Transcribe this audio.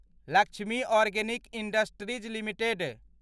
Lakshmi organic industries limited